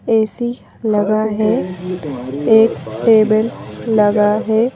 AC लगा है एक टेबल लगा है।